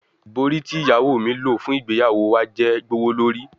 Ibori ti iyawo mi lo fun igbeyawo wa jẹ gbowolori